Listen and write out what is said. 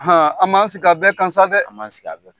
an b'an sigi a bɛɛ kan sa dɛ ! An b'an sigi a bɛɛ.